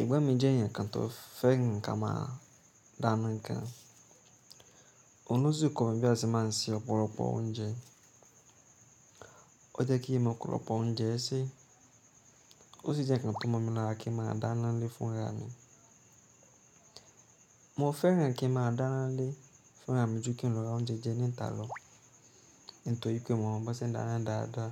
Ẹ̀gbọ́n mi jẹ́ ẹ̀yàn kan tó fẹ́ràn nǹkan máa dáná gan, òun ló sì kọ́ mi bí a ṣe máa ń se ọ̀pọ̀lọpọ̀ oúnjẹ. O jẹ́ kí mo ọ́pọ̀lọ́pọ̀ oúnjẹ ẹ́ ṣe, ó sì jẹ́ ǹkan tó mọ̀ mi lára kí n máa dáná nlé fún ìyá mi. Mo fẹ́ràn kí n máa dáná nlé fún ra mi ju kí n lọ ra oúnjẹ jẹ ní ta lọ, nítorí pé mo mọ̀ bó ṣe ń dáná dáadáa.